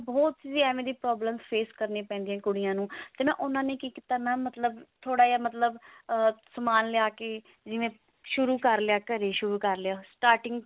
ਬਹੁਤ ਹੀ ਏਵੇਂ ਦੀ problem face ਕਰਨੀਆ ਪੈਂਦੀਆਂ ਨੇ ਕੁੜੀਆਂ ਨੂੰ ਤੇ ਉਹਨਾਂ ਨੇ ਕੀ ਕੀਤਾ mam ਮਤਲਬ ਥੋੜਾ ਜਾ ਮਤਲਬ ah ਸਮਾਨ ਲਿਆ ਕੇ ਜਿਵੇਂ ਸ਼ੁਰੂ ਕਰ ਲਿਆ ਘਰੇ ਸ਼ੁਰੂ ਕਰ ਲਿਆ